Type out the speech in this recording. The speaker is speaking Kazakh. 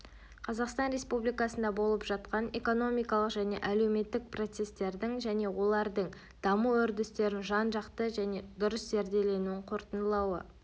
қазақстан республикасында болып жатқан экономикалық және әлеуметтік процестердің және олардың даму үрдістерін жан-жақты және дұрыс зерделенуін қорытындылануы